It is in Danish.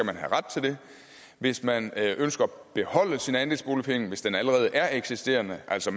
man have ret til det hvis man ønsker at beholde sin andelsboligforening hvis den allerede er eksisterende altså